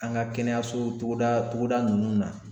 An ka kɛnɛyaso togoda togoda ninnu na